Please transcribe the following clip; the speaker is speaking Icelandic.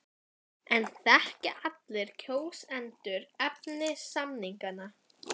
En þekkja allir kjósendur efni samninganna?